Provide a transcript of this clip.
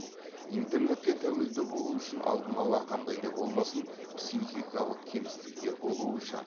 интернетке тәуелді болу үшін алдын ала қандай да болмасын психикалық кемістіктер болуы шарт